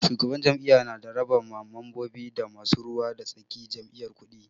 Shugaban jam'iyya na raba ma mambobi da masu ruwa da tsakin jam'iyya kuɗi.